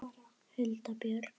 Hulda Björk.